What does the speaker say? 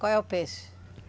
Qual é o peixe?